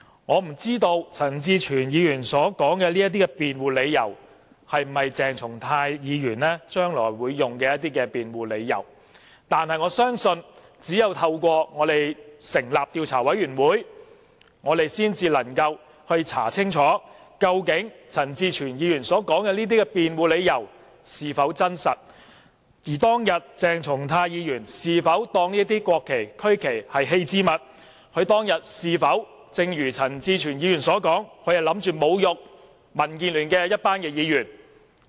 我不知道陳志全議員說的這些辯護理由，鄭松泰議員將來會否使用作為辯護，但我相信只有透過成立調查委員會，我們才能夠調查清楚，究竟陳志全議員所說的這些辯護理由，是否成立，而當天鄭松泰議員是否把這些國旗、區旗視為棄置物，以及是否正如陳志全議員所說的，打算侮辱我們這些民建聯議員？